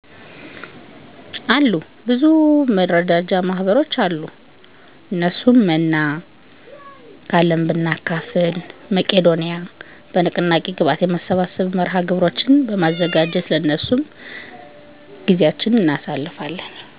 አሉ። መረዳጃ ማህበሮች በንቅናቄ ግብአት የማሰባሰብ መርሃ ግብሮችን በማዘጋጀት